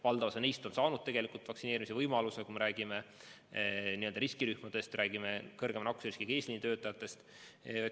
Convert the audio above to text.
Valdav osa neist on juba saanud vaktsineerimise võimaluse, kui me räägime riskirühmadest, räägime kõrgema nakkusriskiga eesliinitöötajatest.